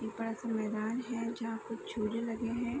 एक बड़ा सा मैदान है जहाँ पे छूरे लगे है ।